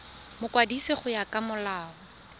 mokwadisi go ya ka molao